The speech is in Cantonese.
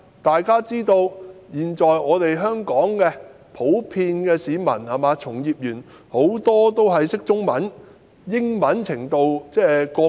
大家都知道，香港的市民及從業員普遍看得懂中文，英文程度則因人而異。